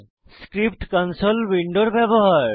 script console উইন্ডোর ব্যবহার